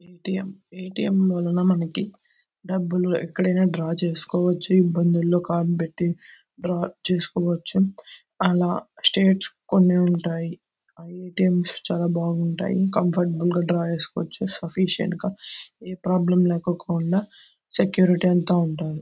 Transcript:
ATM . ATM వలన మనకి డబ్బు లు ఎక్కడైనా డ్రా చేస్కోవచ్చు. ఇబ్బందుల్లో కార్డు పెట్టి డ్రా చేస్కోవచ్చు. అలా స్టేట్స్ కొన్ని ఉన్నాయి. ఆ ఎ_టి_ఎం లు చాలా బాగుంటాయి. కంఫర్టబుల్ గా డ్రా చేసుకోవచ్చు. సఫీషియెంట్ గా ఏ ప్రాబ్లెమ్ లేకోకుండా సెక్యూరిటీ అంతా ఉంటారు.